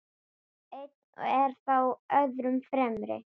Einn er þó öðrum fremri.